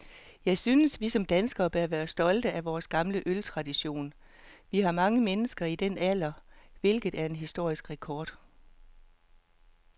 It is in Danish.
Jeg synes, vi som danskere bør være stolte af vor gamle øltradition. Vi har mange mennesker i denne alder, hvilket er en historisk rekord.